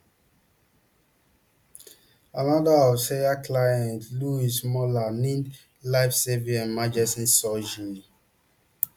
anoda of sawyer clients louise moller need lifesaving emergency surgin